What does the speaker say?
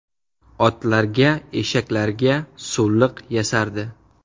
Otlarga, eshaklarga suvliq yasardi.